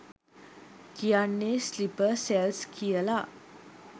කියන්නෙ sleeper cells කියල.